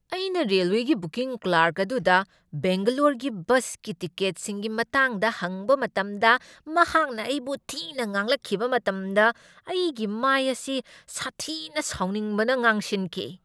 ꯑꯩꯅ ꯔꯦꯜꯋꯦꯒꯤ booking clerk ꯑꯗꯨꯗ ꯕꯦꯡꯒꯂꯣꯔꯒꯤ ꯕꯁꯀꯤ ꯇꯤꯀꯦꯠꯁꯤꯡꯒꯤ ꯃꯇꯥꯡꯗ ꯍꯪꯕ ꯃꯇꯝꯗ ꯃꯍꯥꯛꯅ ꯑꯩꯕꯨ ꯊꯤꯅ ꯉꯥꯡꯂꯛꯈꯤꯕ ꯃꯇꯝꯗ ꯑꯩꯒꯤ ꯃꯥꯏ ꯑꯁꯤ ꯁꯥꯊꯤꯅ ꯁꯥꯎꯅꯤꯡꯕꯅ ꯉꯥꯡꯁꯤꯟꯈꯤ꯫